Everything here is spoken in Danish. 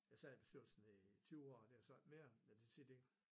Jeg sad i bestyrelsen i 20 år der er jeg så ikke mere men da siger de